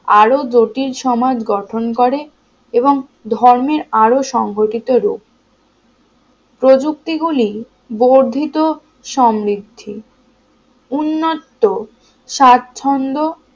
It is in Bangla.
আরো জটিল সমাজ গঠন করে এবং ধর্মের আরও সংঘটিত রূপ প্রযুক্তি গুলি বর্ধিত সমৃদ্ধি উন্নত সাচ্ছন্দ